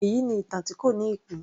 Èyí ni ìtàn tí kò ní ìpín